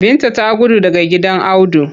Binta ta gudu daga gidan Audu.